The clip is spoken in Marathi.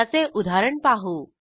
त्याचे उदाहरण पाहू